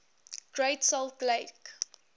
great salt lake